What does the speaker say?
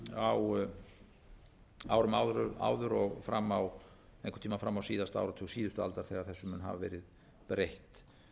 á árum áður og fram á einhvern tímann fram á áratug síðustu aldar þegar þessu mun hafa verið breytt